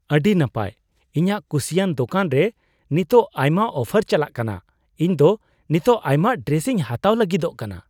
ᱟᱹᱰᱤ ᱱᱟᱯᱟᱭ ! ᱤᱧᱟᱜ ᱠᱩᱥᱤᱭᱟᱱ ᱫᱳᱠᱟᱱ ᱨᱮ ᱱᱤᱛᱚᱜ ᱟᱭᱢᱟ ᱚᱯᱷᱟᱨ ᱪᱟᱞᱟᱜ ᱠᱟᱱᱟ ᱾ ᱤᱧ ᱫᱚ ᱱᱤᱛᱚᱜ ᱟᱭᱢᱟ ᱰᱨᱮᱥᱤᱧ ᱦᱟᱛᱟᱣ ᱞᱟᱹᱜᱤᱫᱚᱜ ᱠᱟᱱᱟ ᱾